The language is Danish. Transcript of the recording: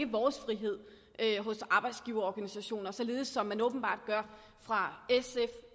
vores frihed hos arbejdsgiverorganisationer således som man åbenbart gør fra